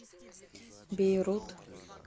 бейрут